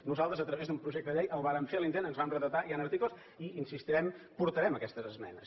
nosaltres a través d’un projecte de llei el vàrem fer l’intent ens vam retratar hi han articles i hi insistirem portarem aquestes esmenes